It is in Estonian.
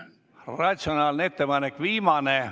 Ratsionaalne ettepanek!